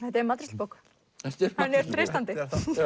þetta er matreiðslubók henni er treystandi